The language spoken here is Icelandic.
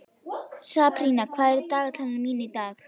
Sabrína, hvað er í dagatalinu mínu í dag?